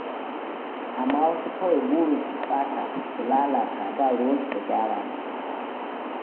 Amma wasu kawai burinsu su ɓata su lalata, ba ruwansu da gyara.